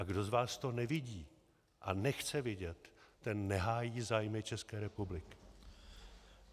A kdo z vás to nevidí a nechce vidět, ten nehájí zájmy České republiky.